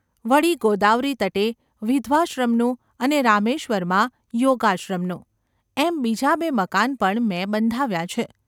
વળી ગોદાવરીતટે વિધવાશ્રમનું અને રામેશ્વરમાં યોગાશ્રમનું, એમ બીજાં બે મકાન પણ મેં બંધાવ્યાં છે.